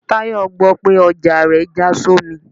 Tayo gbò pe ọja rẹ ja sọmí